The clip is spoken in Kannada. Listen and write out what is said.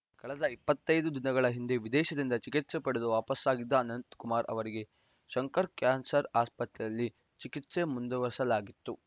ಕಳೆದ ಇಪ್ಪತ್ತ್ ಐದು ದಿನಗಳ ಹಿಂದೆ ವಿದೇಶದಿಂದ ಚಿಕಿತ್ಸೆ ಪಡೆದು ವಾಪಸಾಗಿದ್ದ ಅನಂತಕುಮಾರ್‌ ಅವರಿಗೆ ಶಂಕರ ಕ್ಯಾನ್ಸರ್‌ ಆಸ್ಪತ್ರೆಯಲ್ಲಿ ಚಿಕಿತ್ಸೆ ಮುಂದುವರೆಸಲಾಗಿತ್ತು